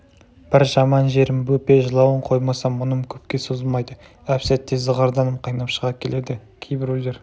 бір жаман жерім бөпе жылауын қоймаса мұным көпке созылмайды әп-сәтте зығырданым қайнап шыға келеді кейбіреулер